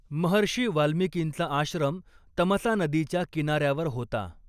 महर्षी वाल्मिकींचा आश्रम तमसा नदीच्या किनार्यावर होता.